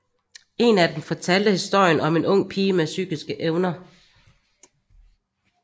En af dem fortalte historien om en ung pige med psykiske evner